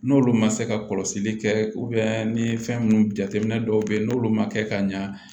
N'olu ma se ka kɔlɔsili kɛ ni fɛn minnu jateminɛ dɔw bɛ yen n'olu ma kɛ ka ɲa